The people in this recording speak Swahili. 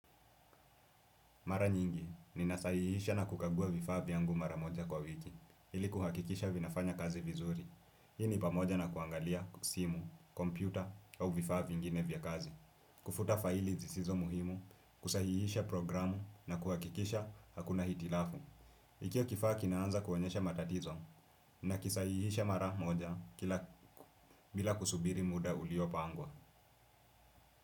Mara nyingi, ninasahihisha na kukagua vifaa vyangu mara moja kwa wiki ili kuhakikisha vinafanya kazi vizuri. Hii ni pamoja na kuangalia simu, kompyuta au vifaa viingine vya kazi. Kufuta faili zisizo muhimu, kusahihisha programu na kuhakikisha hakuna hitilafu. Ikiwa kifaa kinaanza kuonyesha matatizo nakisahihisha mara moja bila kusubiri muda uliopangwa.